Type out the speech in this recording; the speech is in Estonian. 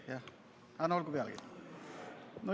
Aga no olgu pealegi.